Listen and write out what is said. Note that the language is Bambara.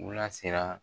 U la sera